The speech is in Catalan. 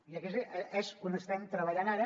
i aquí és on estem treballant ara